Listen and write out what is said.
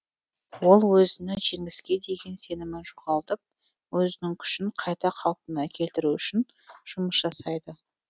ол өзінің жеңіске деген сенімін жоғалтып өзінің күшін қайта қалпына келтіру үшін жұмыс жасайды